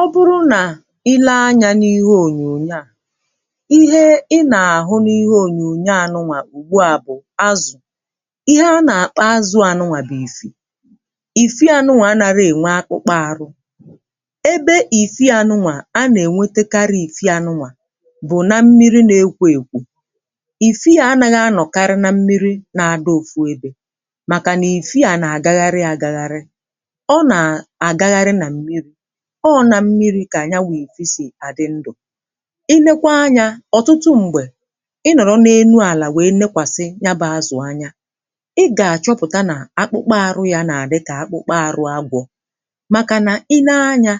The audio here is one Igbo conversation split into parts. Ọ bụrụ nà i lee anyȧ n’ihe ònyònyo à, ihe ị n’àhụ n’ihe ònyònyo à nụwà ùgbu a bụ̀ azụ̀. Ihe a nà-àkpọ azụ̇ à nụwà bụ̀ ifi. Ifi à nụwà anarọ ènwe akpụkpọ ȧrụ̇. Ebe ìfi à nụwà a n’ènwetekarị ìfi à nụwà bụ̀ na mmiri n’ekwo èkwò, ìfi à anaghị anọ̀karị na mmiri na-adọ ofu ebè màkànà ìfi à n’àgagharị àgagharị ọ na àgagharị nà mmiri̇. Ọ na mmiri ka ya bụ ifi si adị ndụ. I leekwa anyȧ ọ̀tụtụ m̀gbè ị nọ̀rọ̀ n’enu àlà wee nekwàsị ya bụ azụ̀ anya, ị gà-àchọpụta nà akpụkpa arụ yȧ nà-àdị kà akpụkpa àrụ agwọ̇ màkà nà i nee anyȧ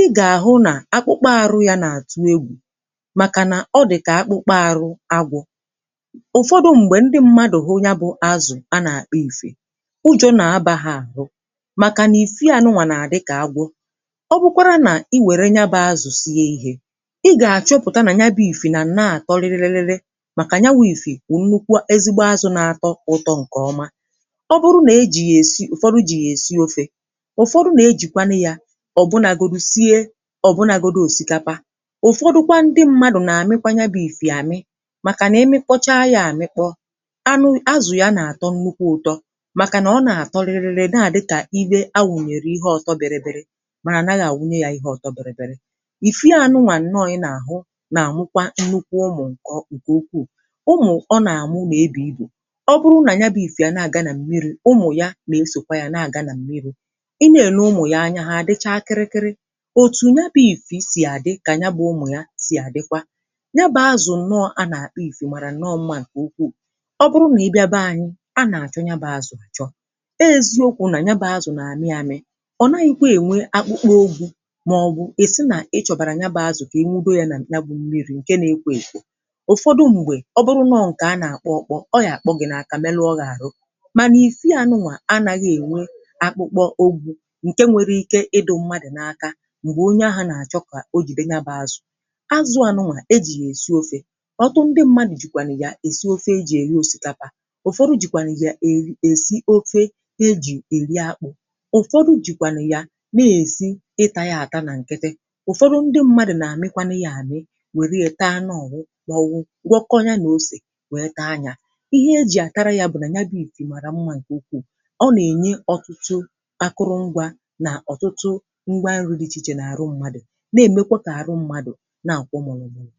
ị gà-àhụ nà akpụkpa arụ yȧ nà-àtụ egwù màkà nà ọ dịkà akpụkpa arụ agwọ̇. Ufọdụ m̀gbè ndị mmadụ̀ hụ ya bụ azụ̀ a nà-àkpọ ìfì, ujọ̇ nà abà ha àhụ màkà nà ìfì a nụwà nà-àdị kà agwọ̇. Ọ bụkwara nà i wère nya bụ azụ̀ sie ihė, ị gà-àchọpụ̀ta nà ya bụ̇ ìfì nà na-àtọ riririri màkà ya wụ̇ ìfì wụ̀ nnukwu ezigbo azụ̇ nà-atọ ụtọ ǹkè ọma ọ bụrụ nà ejì yà èsi ụ̀fọdụ jì yà èsi ofė. Ụfọdụ nà-ejìkwanụ yȧ ọ̀ bụnàgòdụ sie ọ̀ bụnàgòdụ osikapa, ụ̀fọdụkwa ndị mmadụ̀ nà-àmịkwa ya bụ̇ ìfì àmị, màkà n’imikpọcha ya àmịkpọ anụ azù ya nà-àtọ nnukwu ụ̇tọ màkà nà ọ n’atọ riririri naà dịkà ife awụ̀nyèrè ihe ọtọ biribiri mana anaghị awunye ya ihe ọtọ biribiri. Ifi a nụwa nnọọ ị nà-àhụ nà-àmụkwa nnukwu ụmụ̀ ǹke ukwuù. Ụmụ ̀ọ nà-àmụ n’ebu ibu. Ọ bụrụ nà ya bụ ifi n’aga na mmiri, ụmụ̀ ya nà esòkwa ya na-àga nà m̀miri ị na-èle ụmụ̀ ya anya ha adịcha kịrị kịrị. Otù nya bụ̇ ifì sì àdị kà nya bụ̇ ụmụ̀ ya sì àdịkwa. Ya bụ̇ azụ̀ nnọọ̇ a n’àkpọ ifì màrà nọọ mma ǹkè ukwuù, ọbụrụ nà ị bịa be anyị a nà-àchọ nya bụ̇ azụ̀ àchọ. Owu ezi okwu nà nya bụ̇ azụ̀ nà àmị amị, o naghịkwa enwe akpụkpa ogwụ màọ̀bụ̀ ịsị nà ị chọ̀bàrà nya bà azụ̀ kà I nwudo yȧ nà ya bụ mmiri̇ ǹke nȧ-ekwo èkwò. Ụfọdụ m̀gbè ọ bụrụ nọ ǹkè a nà-àkpọ ọkpọ, ọ ga kpọọ gị̀ nà-àkà melu ọ gị̇ àrụ. Mànà ìfi à nụwà anàghị ènwe akpụkpọ ogwụ ǹke nwere ike ịdu mmadụ̀ n’aka m̀gbè onye ahụ̇ nà-àchọ kà o jide ya bụ azụ̀. Azụ a nụwà ejì yà èzi ofė. Ọtụtụ ndị mmȧnụ̀ jìkwànụ̀ yà èzi ofė ejì eri osìkapa, ụ̀fọdụ jìkwànụ̀ yà èri èsị ofė ejì èri akpụ̇, ụ̀fọdụ jikwanu ya n’esi ita ya ata na nkịtị, ụfọdụ ndị mmadụ̀ nà-àmịkwanụ yȧ ànị wèrè ya taa anụ ọwụ màọ̀bụ̀ gwọọ kọọ ya nà ose wèe taa yȧ. Ihe e jì àtara ya bụ̀ ifi màrà mmȧ ǹkè ukwuù, ọ nà-ènye ọtụtụ akụrụ ngwȧ nà ọ̀tụtụ ngwa nri dị ichè ichè n’àrụ mmadụ̀ na-èmekwa kà àrụ mmadụ̀ na-àkwọ mụ̀lụ̀ mùrụ̀.